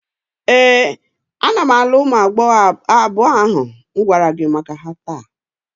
Ee, ana m alụ ụmụ agbọghọ abụọ ahụ m gwara gi maka ha taa.